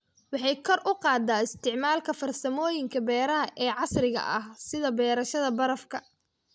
Waxay kor u qaadaa isticmaalka farsamooyinka beeraha ee casriga ah, sida beerashada barafka.